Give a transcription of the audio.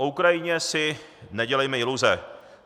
O Ukrajině si nedělejme iluze.